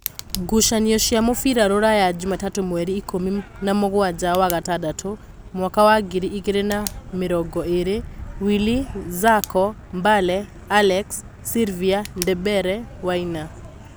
Ngucanio cia mũbira Ruraya Jumatatũ mweri ikũmi namũgwanja wa gatandatũ mwaka wa ngiri igĩrĩ na namĩrongoĩrĩ: Wili, Zacho, Mbale, Alex, sirivia, Ndembere, Waina